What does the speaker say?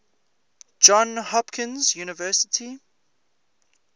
johns hopkins university